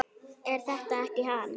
Er þetta ekki hann